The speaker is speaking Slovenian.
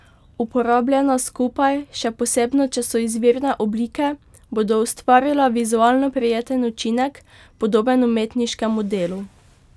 Uporabljena skupaj, še posebno če so izvirne oblike, bodo ustvarila vizualno prijeten učinek, podoben umetniškemu delu.